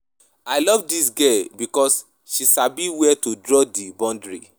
I love dis girl because she sabi where to draw di boundary.